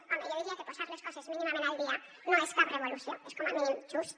home jo diria que posar les coses mínimament al dia no és cap revolució és com a mínim just